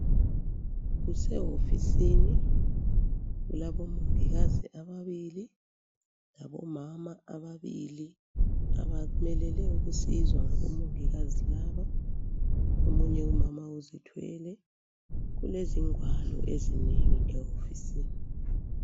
Kusehofisini, kulabomongikazi ababili labomama ababili abamelele ukusizwa ngabomongikazi laba. Omunye umama uzithwele. Kulezingwalo ezinengi ehofisini.